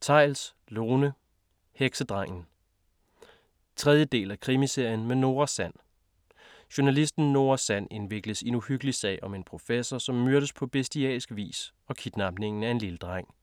Theils, Lone: Heksedrengen 3. del af Krimiserien med Nora Sand. Journalisten Nora Sand indvikles i en uhyggelig sag om en professor, som myrdes på bestialsk vis og kidnapningen af en lille dreng.